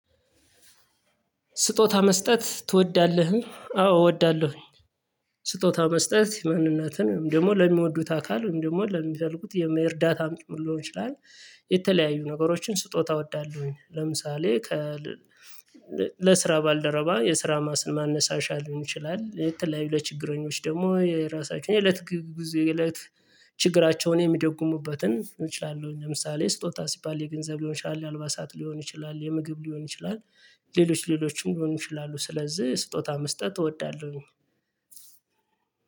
ስጦታ መስጠት ትወዳለህ? አዎ እወዳለሁ ስጦታ መስጠት ማንነትን ደግሞ ለሚወዱት አካል ደግሞ ለሚፈልጉት የመርዳት አምጥሞን ሊሆን ይችላል። የተለያዩ ነገሮችን ስጦታ እወዳለሁኝ ለምሳሌ። ለስራ ባልደረባ የስራ ማነሳሻ ሊሆን ይችላል የተለያዩ ለችግረኞች ደግሞ የራሳቸውን የእለት ችግራቸውን የሚደግሙበትን እችላለሁ። ለምሳሌ ስጦታ ሲባል የገንዘብ ሊሆን ይችላል የአልባሳት ሊሆን ይችላል የምግብ ሊሆን ይችላል። ሌሎች ሌሎችም ሊሆን ይችላሉ ስለዚህ ስጦታ መስጠት እወዳለሁ።